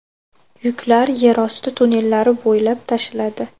Yuklar yerosti tunnellari bo‘ylab tashiladi.